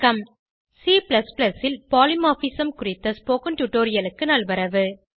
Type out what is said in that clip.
C ல் polymorphism குறித்த spoken டுடோரியலுக்கு நல்வரவு